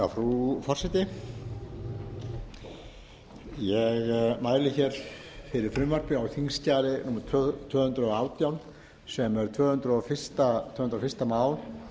frú forseti ég mæli fyrir frumvarpi á þingskjali númer tvö hundruð og átta sem er tvö hundruð og fyrsta mál